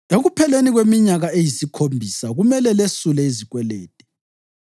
“Ekupheleni kweminyaka eyisikhombisa kumele lesule izikwelede.